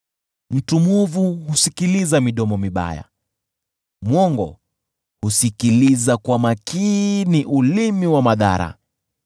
Mtu mwovu husikiliza midomo mibaya; mwongo husikiliza kwa makini ulimi wa madhara.